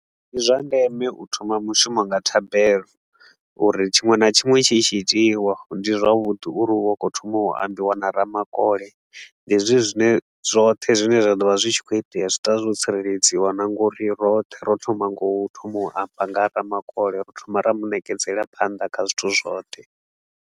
Ndi zwa ndeme u thoma mushumo nga thabelo uri tshiṅwe na tshiṅwe tshi itshi itiwa ndi zwavhuḓi uri u vhe u khou thoma u ambiwa na ramakole. Hezwi zwine zwoṱhe zwine zwa ḓo vha zwi tshi khou itea zwi ḓo vha zwo tsireledziwa na ngori roṱhe ro thoma nga u thoma u amba nga ha Ramakole, ro thoma ra mu ṋekedzela phanḓa kha zwithu zwoṱhe.